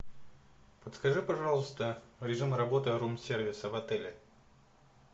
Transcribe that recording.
подскажи пожалуйста режим работы рум сервиса в отеле